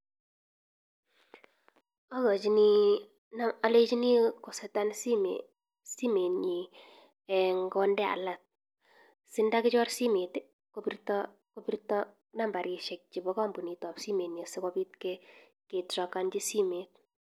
Akochini olenchini koseten simoiinyin eeh konde alaak sindakichor simoit kobirto kobirto nambaishek chebo kombunitab simoinyin sikobit ketrakenchi simoit.